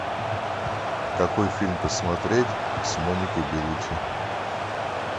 какой фильм посмотреть с моникой белуччи